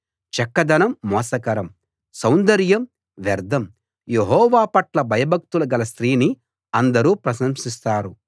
చక్కదనం మోసకరం సౌందర్యం వ్యర్థం యెహోవా పట్ల భయభక్తులు గల స్త్రీని అందరూ ప్రశంసిస్తారు